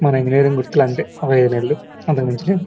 మన ఇంజినీరింగ్ గుర్తులు అన్తే ఒక ఐదు నెలలు అంతకు మించి --